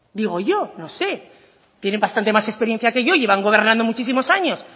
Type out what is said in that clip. digo yo no sé tienen bastante más experiencia que yo llevan gobernando muchísimos años